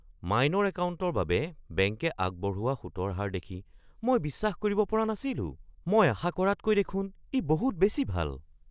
Minor একাউণ্টৰ বাবে বেংকে আগবঢ়োৱা সুতৰ হাৰ দেখি মই বিশ্বাস কৰিব পৰা নাছিলোঁ! মই আশা কৰাতকৈ দেখোন ই বহুত বেছি ভাল।